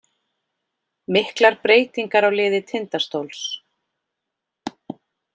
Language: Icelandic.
Miklar breytingar á liði Tindastóls